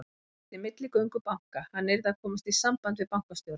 Hann þyrfti milligöngu banka, hann yrði að komast í samband við bankastjóra.